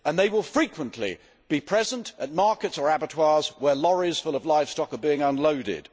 They will frequently be present at markets or abattoirs where lorries full of livestock are being unloaded.